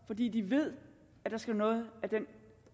fordi de ved at der skal noget af den